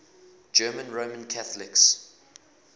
german roman catholics